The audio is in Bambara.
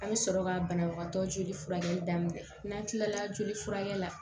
A bɛ sɔrɔ ka banabagatɔ joli furakɛli daminɛ n'an kilala joli furakɛ la